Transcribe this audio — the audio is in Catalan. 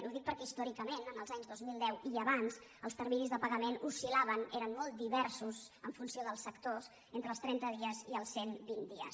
ho dic per·què històricament l’any dos mil deu i abans els terminis de pagament oscil·laven eren molt diversos en funció dels sectors entre els trenta dies i els cent vint dies